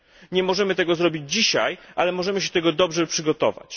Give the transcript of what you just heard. Nie możemy tego zrobić dzisiaj, ale możemy się do tego dobrze przygotować.